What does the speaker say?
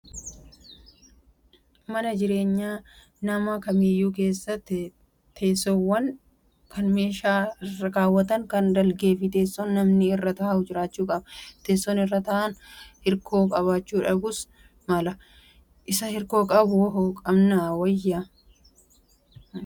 Mana jireenyaa nama kamiiyyuu keessa teessoowwan kan meeshaa irra kaaawwatan kan dalgee fi teessoon namni irra taa'u jiraachuu qaba. Teessoon irra taa'an hirkoo qabaachuu dhabuus mala. Isa hirkoo qabu moo hin qabne wayyaa?